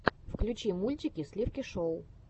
включи мультики сливки шоу